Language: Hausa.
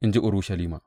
in ji Urushalima.